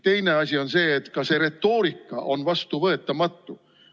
Teine asi on see, et ka see retoorika on vastuvõetamatu.